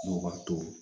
N'o wari tɔ